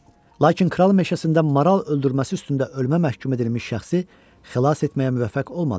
Lakin kral meşəsində maral öldürməsi üstündə ölümə məhkum edilmiş şəxsi xilas etməyə müvəffəq olmadı.